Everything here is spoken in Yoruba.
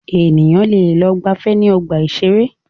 Ènìyàn lẹ lọ gbàfẹ́ ní ọgbà ìṣẹ̀rẹ́.